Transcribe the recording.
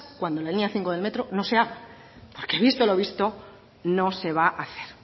cuando la línea cinco del metro no sea porque visto lo visto no se va a hacer